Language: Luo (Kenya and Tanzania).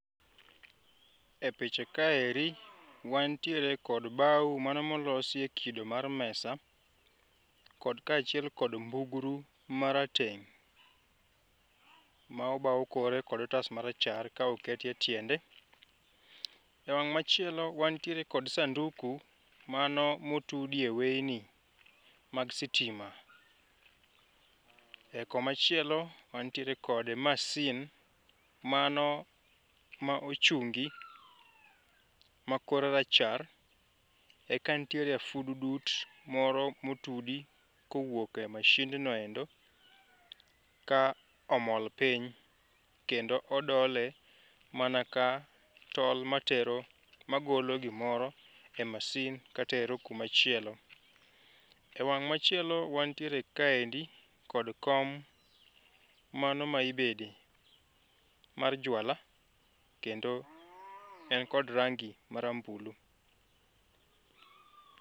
E picha kaeri, wantiere kod bao mano molosie kido mar mesa kod kachiel kod mbugru marateng' maobao kore kod otas marachar kaoketie tiende. E wang' machielo wantiere kod sanduku mano motudie wayni mag sitima. E komachielo wantiere kod masin mano ma ochungi makore rachar e kantiere a furudut moro motudi kowuok e machine no endo ka omol piny kendo odole mana ka tol matero magolo gimoro e masin katero kumachielo. E wang' machielo wantiere kaendi kod kom mano ma ibede mar jwala kendo en kod rangi marambulu.